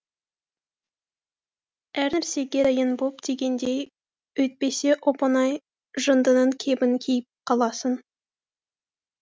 әр нәрсеге дайын бол дегендей өйтпесе оп оңай жындының кебін киіп қаласың